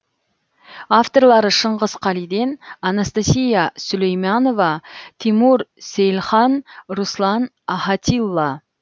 авторлары шыңғыс қалиден анастасия сулейманова тимур сейлхан руслан ахатилла